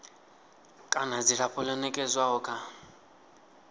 kana dzilafho ḽo nekedzwaho kha